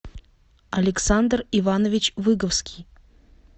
александр иванович выговский